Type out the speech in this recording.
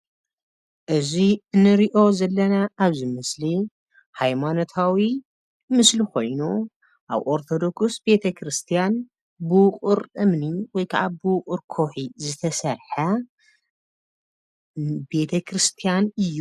እዚ ንሪኦ ዘለና ኣብዚ ምስሊ ሃይማኖታዊ ምስሊ ኮይኑ ኣብ ኦርተዶክስ ቤተክርስያን ብዉቅር እምኒ ወይ ክዓ ብዉቅር ከዉሒ ዝተሰርሐ ቤተክርስያን እዩ።